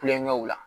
Kulonkɛw la